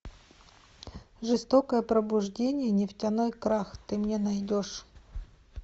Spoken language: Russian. жестокое пробуждение нефтяной крах ты мне найдешь